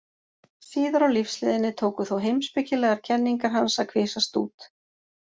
Síðar á lífsleiðinni tóku þó heimspekilegar kenningar hans að kvisast út.